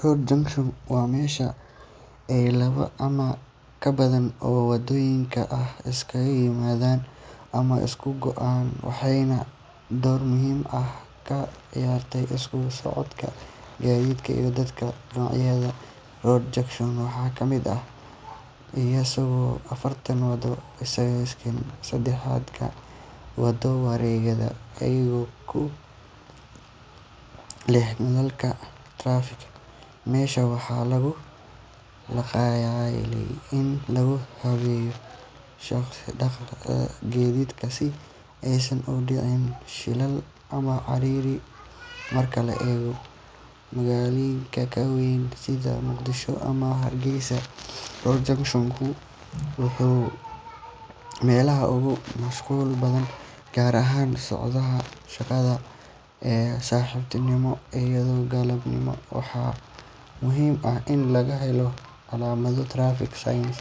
Road junction waa meesha ay laba ama ka badan oo waddooyin ah iskaga yimaadaan ama isku go’aan, waxayna door muhiim ah ka ciyaartaa isku socodka gaadiidka iyo dadka. Noocyada road junction ka waxaa ka mid ah isgoyska afarta waddo, isgoyska saddexda waddo, wareegyada iyo kuwa leh nalalka traffic. Meeshan waxaa loogu talagalay in lagu habeeyo dhaqdhaqaaqa gaadiidka si aysan u dhicin shilal ama ciriiri. Marka la eego magaalooyinka waa weyn sida Muqdisho ama Hargeysa, road junction ku waa meelaha ugu mashquulka badan, gaar ahaan saacadaha shaqada ee subaxnimo iyo galabnimo. Waxaa muhiim ah in laga helo calaamado traffic signs,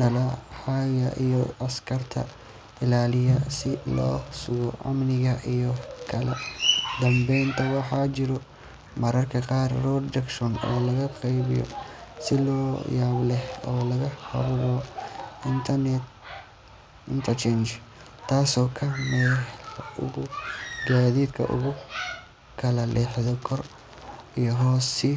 nalal hagaya iyo askar ilaaliya si loo sugo amniga iyo kala dambeynta. Waxaa jira mararka qaar road junction loo qaabeeyo si la yaab leh oo la yiraahdo interchange, taas oo ah meel uu gaadiidku u kala leexdo kor iyo hoos si